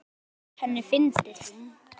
Þetta fannst henni fyndið.